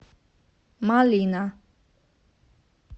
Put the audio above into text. малина